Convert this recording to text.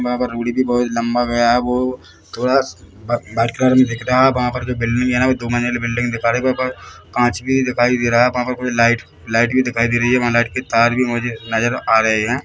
वहाँ पर हुडी भी बहुत लंबा गया है वो थोड़ा वा व्हाइट कलर मे दिख रहा है वहाँ पर जो बिल्डिंग है ना वो दो मंजिल बिल्डिंग दिख रही वहाँ पर कांच भी दिखाई दे रहा है वहाँ पर कुछ लाइट लाइट भी दिखाई दे रही है वहाँ लाइट के तार भी मौजू नजर आ रहे है ।